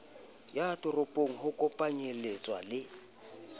ya ditoropo ho kopanyeletsa le